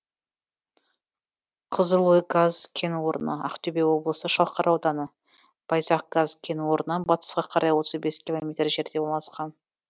қызылой газ кен орны ақтөбе облысы шалқар ауданы байзақ газ кен орнынан батысқа қарай отыз бес километр жерде орналасқан